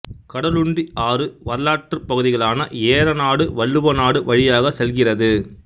கடலுண்டி ஆறு வரலாற்றுப் பகுதிகளான ஏறநாடு வள்ளுவநாடு வழியாகச் செல்கிறது